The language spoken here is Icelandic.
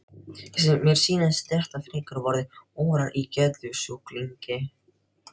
Mér sýnist þetta frekar vera órar í geðsjúklingi.